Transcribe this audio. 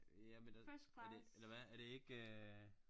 Ja men det er det eller hvad er det ikke